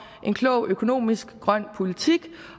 en klog økonomisk grøn politik